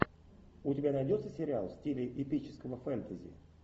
у тебя найдется сериал в стиле эпического фэнтези